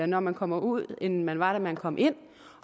når man kommer ud end man var da man kom ind